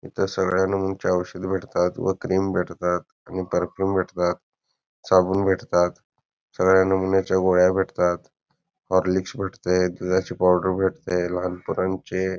इथ सगळ्या नमूनची ओषध भेटतात व क्रीम भेटतात व पर्फ्यूम भेटतात साबून भेटतात सगळ्या नमूनच्या गोळ्या भेटतात हॉर्लिक्स भेटतय दुधाची पाऊडर भेटते लहान पोरांचे--